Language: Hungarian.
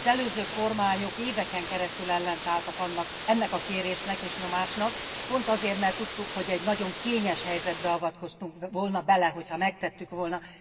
Az előző kormányok éveken keresztül ellenálltak ennek a kérésnek és nyomásnak, pont azért, mert tudtuk, hogy egy nagyon kényes helyzetbe avatkoztunk volna bele, hogyha megtettük volna.